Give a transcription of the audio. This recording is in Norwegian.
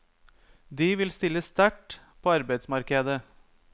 De vil stille sterkt på arbeidsmarkedet.